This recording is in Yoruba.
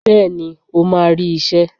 Bẹ́ẹ̀ni o máa rí iṣẹ́.